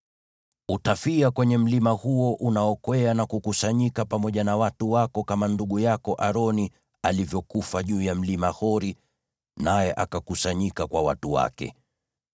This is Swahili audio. Utafia kwenye mlima huo unaokwea na kukusanyika pamoja na watu wako, kama ndugu yako Aroni alivyofia juu ya Mlima Hori naye akakusanyika kwa watu wake.